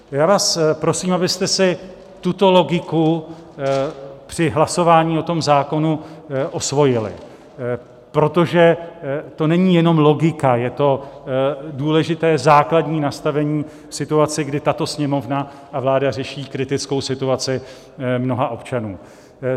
Já vás prosím, abyste si tuto logiku při hlasování o tom zákonu osvojili, protože to není jenom logika, je to důležité základní nastavení situace, kdy tato Sněmovna a vláda řeší kritickou situaci mnoha občanů.